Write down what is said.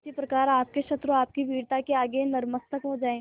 उसी प्रकार आपके शत्रु आपकी वीरता के आगे नतमस्तक हो जाएं